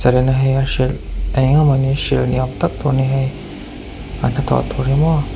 a hrilh eng emaw ni a hrilh ni âwm tak tûr a ni hei an hnathawh tûr hi maw.